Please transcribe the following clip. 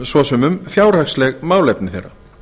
svo sem um fjárhagsleg málefni þeirra